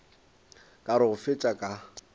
ka re go fetša ka